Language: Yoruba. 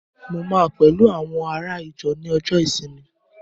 mo ma pẹlu awọn ará ìjọ Ni ọjọ isinmi